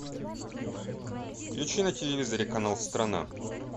включи на телевизоре канал страна